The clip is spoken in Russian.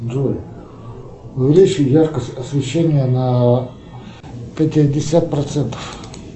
джой увеличь яркость освещения на пятьдесят процентов